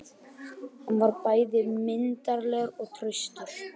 Hann var bæði myndarlegur og traustur.